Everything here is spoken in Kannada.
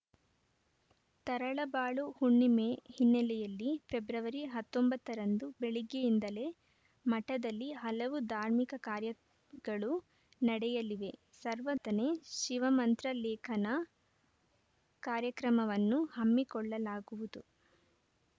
ತರಳಬಾಳು ಹುಣ್ಣಿಮೆ ಹಿನ್ನೆಲೆಯಲ್ಲಿ ಫೆಬ್ರವರಿ ಹತ್ತೊಂಬತ್ತ ರಂದು ಬೆಳಗ್ಗೆಯಿಂದಲೇ ಮಠದಲ್ಲಿ ಹಲವು ಧಾರ್ಮಿಕ ಕಾರ್ಯಗಳು ನಡೆಯಲಿವೆ ಸರ್ವನೆ ಶಿವಮಂತ್ರ ಲೇಖನ ಕಾರ‍್ಯಕ್ರಮವನ್ನು ಹಮ್ಮಿಕೊಳ್ಳಲಾಗುವುದು